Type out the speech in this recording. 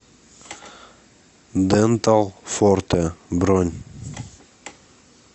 дентал форте бронь